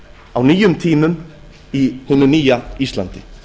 á nýjum tímum í hinu nýja íslandi